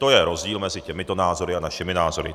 To je rozdíl mezi těmito názory a našimi názory.